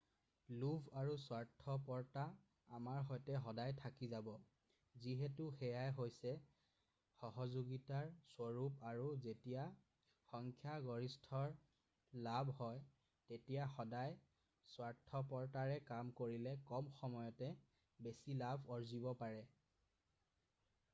লোভ আৰু স্বাৰ্থপৰতা আমাৰ সৈতে সদায় থাকি যাব যিহেতু সেয়াই হৈছে সহযোগিতাৰ স্বৰূপ আৰু যেতিয়া সংখ্যাগৰিষ্ঠৰ লাভ হয় তেতিয়া সদায় স্বাৰ্থপৰতাৰে কাম কৰিলে কম সময়তে বেছি লাভ আৰ্জিব পাৰি